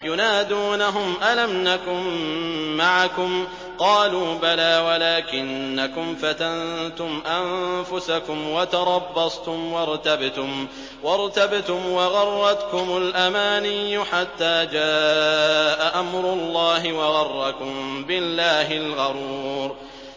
يُنَادُونَهُمْ أَلَمْ نَكُن مَّعَكُمْ ۖ قَالُوا بَلَىٰ وَلَٰكِنَّكُمْ فَتَنتُمْ أَنفُسَكُمْ وَتَرَبَّصْتُمْ وَارْتَبْتُمْ وَغَرَّتْكُمُ الْأَمَانِيُّ حَتَّىٰ جَاءَ أَمْرُ اللَّهِ وَغَرَّكُم بِاللَّهِ الْغَرُورُ